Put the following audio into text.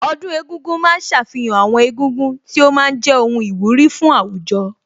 Ọdún egúngún ma ń ṣàfihàn àwọn egúngún tí ó ma ń jẹ́ ohun ìwúrí fún àwùjọ